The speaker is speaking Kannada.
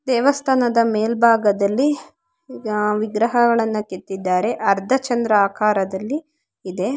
ದೇವಸ್ಥಾನದ ಮೇಲ್ಭಾಗದಲ್ಲಿ ಆ ವಿಗ್ರಹಗಳನ್ನ ಕೆತ್ತಿದ್ದಾರೆ ಅರ್ಧ ಚಂದ್ರ ಆಕಾರದಲ್ಲಿ ಇದೆ.